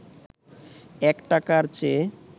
১ টাকার চেয়ে